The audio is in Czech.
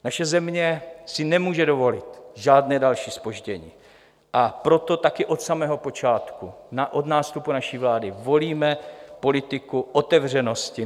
Naše země si nemůže dovolit žádné další zpoždění, a proto také od samého počátku od nástupu naší vlády volíme politiku otevřenosti.